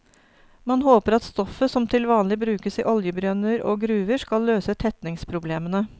Man håper at stoffet, som til vanlig brukes i oljebrønner og gruver, skal løse tetningsproblemene.